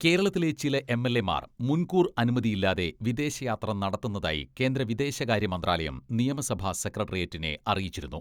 കേരളത്തിലെ ചില എംഎൽഎമാർ മുൻകൂർ അനുമതിയില്ലാതെ വിദേശയാത്ര നടത്തുന്നതായി കേന്ദ്ര വിദേശകാര്യ മന്ത്രാലയം നിയമസഭാ സെക്രട്ടേറിയറ്റിനെ അറിയിച്ചിരുന്നു.